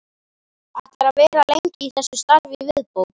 Ætlarðu að vera lengi í þessu starfi í viðbót?